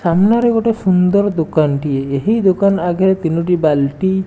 ସାମ୍ନାରେ ଗୋଟେ ସୁନ୍ଦର ଦୋକାନଟିଏ। ଏହି ଦୋକାନ ଆଗେରେ ତିନୋଟି ବାଲ୍ଟି --